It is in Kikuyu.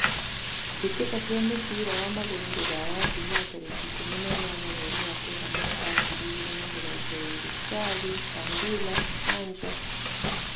Mbĩtĩka cia mũbira wa magũrũ Rũraya Jumaa tarĩkĩ ikũmi na inyanya mweri wa kenda mwaka wa ngiri igĩrĩ na mĩrongo ĩrĩ: Carĩ, Candĩra, Canjo